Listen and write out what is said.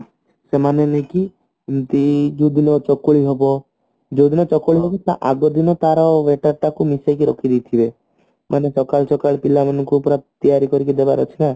ସେମାନେ ନୁହଁ କି ଏମତି ଦୁଇଦିନ ଚକୁଳି ହେବ ଯୋଉଦିନ ଚକୁଳି ହେବ ତାର ଆଗଦିନ ତାର ବଟା ଟାକୁ ମିଶେଇକି ରଖିଦେଇଥିବେ ମାନେ ସକାଳୁ ସକାଳୁ ପିଲାମାନଙ୍କୁ ପୁରା ତିଆରି କରିକି ଦେବାର ଅଛିନା